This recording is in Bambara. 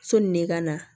Sɔni ne ka na